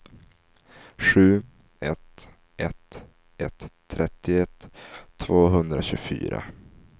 sju ett ett ett trettioett tvåhundratjugofyra